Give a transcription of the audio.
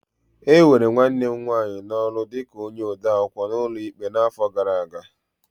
E were nwanne m nwanyị n'ọrụ dị ka onye odeakwụkwọ n'ụlọ ikpe n'afọ gara aga.